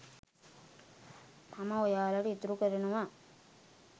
මම ඔයාලට ඉතුරු කරනවා.